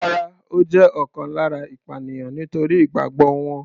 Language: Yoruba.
Rárá, ó jẹ́ ọ̀kan lára ìpànìyàn nítorí ìgbàgbọ́ wọn.